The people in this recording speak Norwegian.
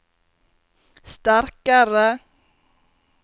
sterkare